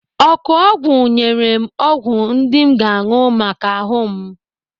Ọkụọgwụ nyere m ọgwụ ndị m ga-anụ maka ahụ m.